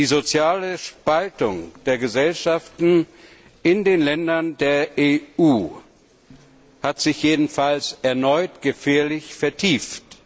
Die soziale Spaltung der Gesellschaften in den Ländern der EU hat sich jedenfalls erneut gefährlich vertieft.